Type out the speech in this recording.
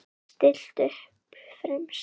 Stillt upp fremst.